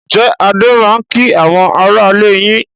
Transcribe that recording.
Ǹjẹ́ Adé máa ń kí àwọn aráalé yín?